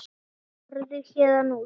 Farðu héðan út.